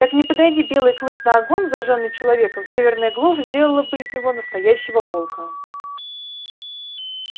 так не подойди белый клык на огонь зажжённый человеком северная глушь сделала бы из него настоящего волка